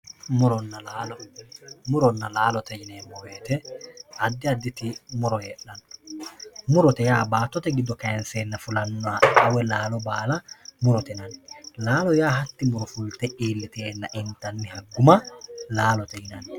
muronna laalo muronna laalote yineemmo woyte addi additi muro heedhanno murote yaa baattote giddo kaynseenna fulannoha woy murannoha laalo baala murote yinanni laalo yaa hatti muro fulte iilliteenna intanniha guma laalote yinanni